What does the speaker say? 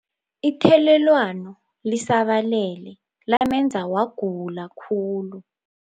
Ithelelwano lisabalele lamenza wagula khulu.